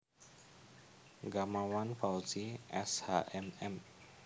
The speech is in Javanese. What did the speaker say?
Gamawan Fauzi S H M M